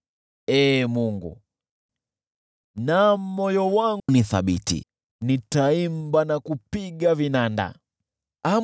Ee Mungu, moyo wangu ni thabiti; nitaimba na kusifu kwa moyo wangu wote.